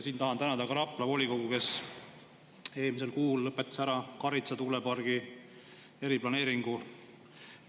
Siin tahan tänada ka Rapla volikogu, kes eelmisel kuul lõpetas ära Karitsa tuulepargi eriplaneeringu.